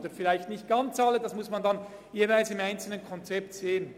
Vielleicht sind es dann nicht ganz alle, das muss man im einzelnen Konzept ansehen.